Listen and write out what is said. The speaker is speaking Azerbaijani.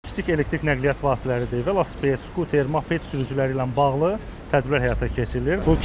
kiçik elektrik nəqliyyat vasitələri, velosiped, skuter, moped sürücüləri ilə bağlı tədbirlər həyata keçirilir.